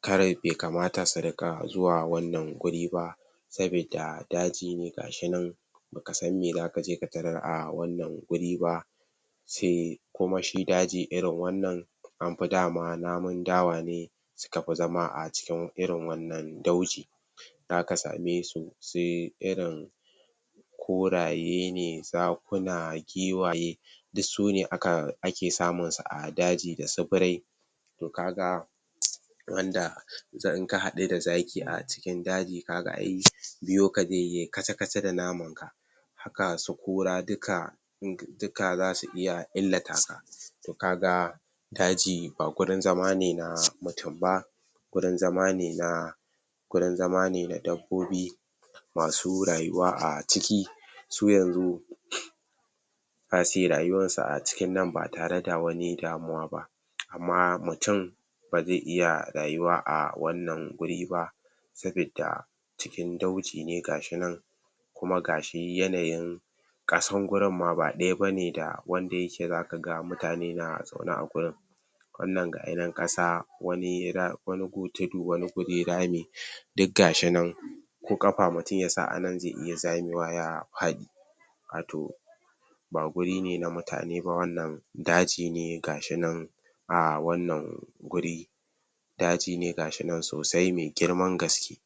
kar be kamata su riƙa zuwa wannan guri ba, sabidda daji ne gashi nan baka san me za ka je ka tarar a wannan guri ba, se kuma shi daji irin wannan anfi dama namun dawa ne suka fi zama a cikin irin wannan dauji, zaka same su se irin kuraye ne zakuna giwaye dissu ne aka ake samu a daji da su birai, to kaga wanda za in ka haɗu da zaki a cikin daji kaga ai biyoka ze yai kaca-kaca da namanka, haka su kura dika in dika za su iya illata ka, to kaga daji ba gurin zama ne na mutin ba, gurin zama ne na gurin zama ne na dabbobi masu rayuwa a ciki, su yanzu zasi rayuwarsu a cikin nan ba tare da damuwa ba, amma mutin ba ze iya rayuwa a wannan guri ba; sabidda cikin dauji ne gashi nan kuma gashi yanayin ƙasan gurinmma ba ɗaya ba ne da wanda yake zaka ga mutane na zaune a gurin, wannan ga ya nan ƙasa wani ra...wani gu tudu wani guri rami, diggashi nan ko ƙafa mutin yasa anan ze iya zamewa ya faɗi, a to ba guri ne na mutane ba wannan, daji ne gashi nan a wannan guri daji ne ga shi nan sosai me girman gaske.